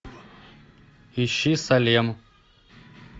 ищи салем